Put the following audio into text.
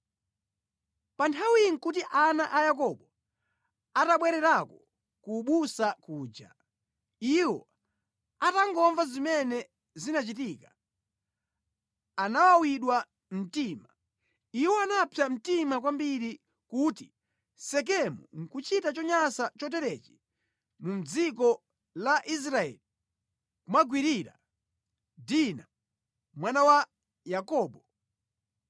Pa nthawi iyi nʼkuti ana a Yakobo atabwererako ku busa kuja. Iwo atangomva zimene zinachitika, anawawidwa mtima. Iwo anapsa mtima kwambiri kuti Sekemu nʼkuchita chonyansa choterechi mu dziko la Israeli, kumugwirira Dina, mwana wa Yakobo.